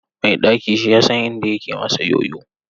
Mai ɗaki shi yasan inda yake masa yoyo.